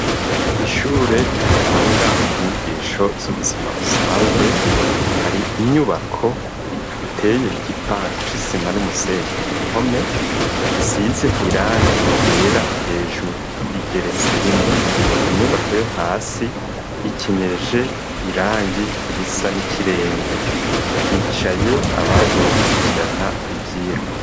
Ishure ritanga inyigisho z'ubuzima busanzwe hari inyubako iteye igipande c'isima n'umusenyi ku mpome isize irangi ryera hejuru igeretse rimwe ku nyubako yo hasi ikenyeje irangi risa n'ikiremve hicaye abaje gukurikirana ivyirwa.